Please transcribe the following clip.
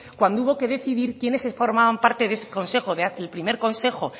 cuando hubo que decidir quiénes formaban parte de ese consejo el primer consejo